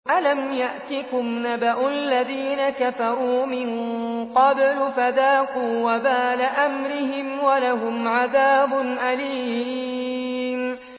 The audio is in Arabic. أَلَمْ يَأْتِكُمْ نَبَأُ الَّذِينَ كَفَرُوا مِن قَبْلُ فَذَاقُوا وَبَالَ أَمْرِهِمْ وَلَهُمْ عَذَابٌ أَلِيمٌ